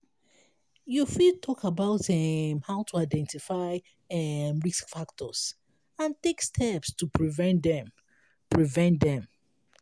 you fit talk about um how to identify um risk factors and take steps to prevent dem. prevent dem.